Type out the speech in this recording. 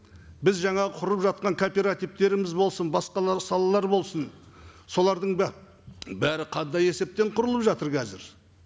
біз жаңа құрып жатқан кооперативтеріміз болсын басқалар салалар болсын солардың бәрі қандай есептен құрылып жатыр қазір